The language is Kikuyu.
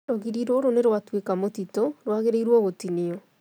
Rũgiri rũrũnĩ rwa tuĩka mũtitũ, rwagĩrĩirwo gũtinio